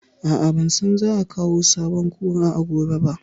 A'a, ban san za a kawo sabon Kura gobe ba